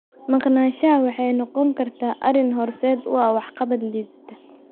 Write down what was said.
Maqnaanshaha waxay noqon kartaa arrin horseed u ah waxqabad liidata.